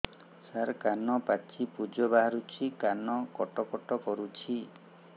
ସାର କାନ ପାଚି ପୂଜ ବାହାରୁଛି କାନ କଟ କଟ କରୁଛି